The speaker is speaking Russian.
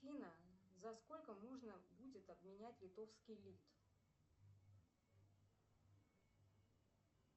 афина за сколько можно будет обменять литовский лит